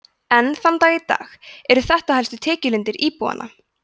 enn þann dag í dag eru þetta helstu tekjulindir íbúanna